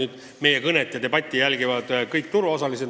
Seda meie debatti jälgivad nüüd kõik turuosalised.